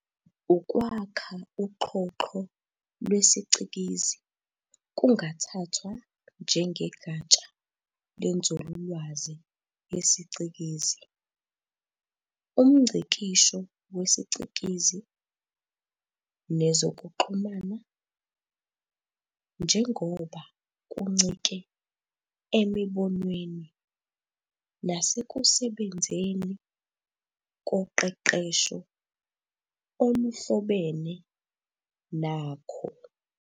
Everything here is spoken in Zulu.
Ukwakha uxhoxho lwesiCikizi kungathathwa njengegatsha lenzululwazi yesicikizi, umNgcikisho wesiCikizi, nezokuxhumana, njengoba kuncike emibonweni nasekusebenzeni koqeqesho oluhlobene nakho.